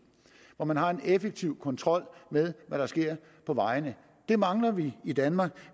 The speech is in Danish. og hvor man har en effektiv kontrol med hvad der sker på vejene det mangler vi i danmark